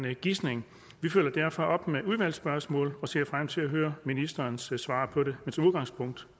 en gisning vi følger derfor op med udvalgsspørgsmål og ser frem til at høre ministerens svar på det men som udgangspunkt